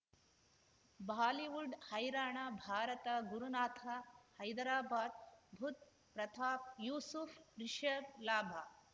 Bollywood ಹೈರಾಣ ಭಾರತ ಗುರುನಾಥ ಹೈದರಾಬಾದ್ ಬುಧ್ ಪ್ರತಾಪ್ ಯೂಸುಫ್ ರಿಷಬ್ ಲಾಭ